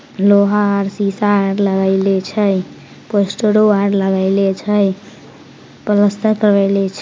लोहा और शीशा लगइले छय पोस्टरों और लगइले छय पलस्तर करवइले छ --